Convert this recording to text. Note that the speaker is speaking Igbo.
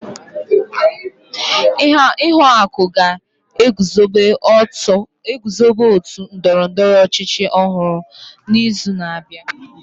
Ihuaku ga-eguzobe ótù ndọrọ ndọrọ ọchịchị ọhụrụ n'izu na-abịa.